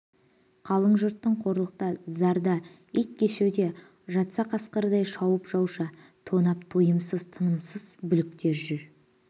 қалың жүртың қорлықта зарда иткешуде жатса қасқырдай шауып жауша тонап тойымсыз тынымсыз бұліктер жүр